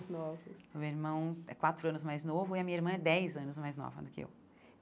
O meu irmão é quatro anos mais novo e a minha irmã é dez anos mais nova do que eu.